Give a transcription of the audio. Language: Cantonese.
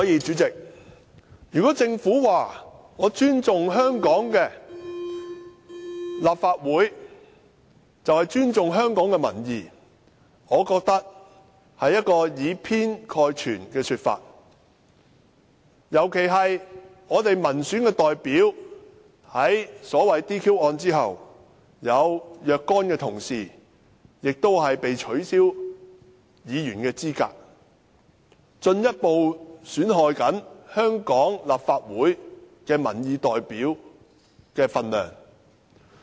主席，如果政府說，它尊重立法會，就是尊重香港的民意，我覺得這是以偏概全的說法，尤其是民選代表在 "DQ 案"後，有若干議員被取消資格，進一步損害香港立法會民意代表的分量。